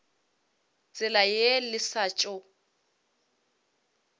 tsela ye le sa tšo